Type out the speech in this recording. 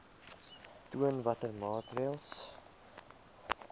aantoon watter maatreëls